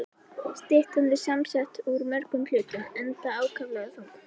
Styttan er samsett úr mörgum hlutum, enda ákaflega þung.